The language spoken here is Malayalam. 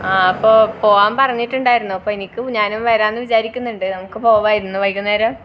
ആഹ് അപ്പൊ പോവാൻ പറഞ്ഞിട്ടുണ്ടായിരുന്നു അപ്പൊ എനിക്ക് ഞാനും വരാന്ന് വിചാരിക്കുന്നുണ്ട് നമുക്ക് പോക ഇന്ന് വൈകുന്നേരം